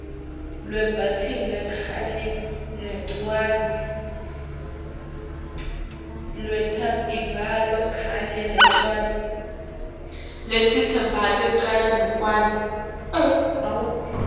lwetemibhalo kanye nencwadzi